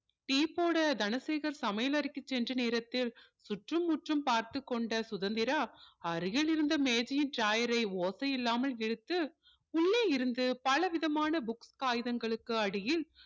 tea போட தனசேகர் சமையலறைக்கு சென்ற நேரத்தில் சுற்றும் முற்றும் பார்த்து கொண்ட சுதந்திரா அருகில் இருந்த மேஜையின் drawer ரை ஓசையில்லாமல் இழுத்து உள்ளே இருந்த பலவிதமான book காகிதங்களுக்கு அடியில்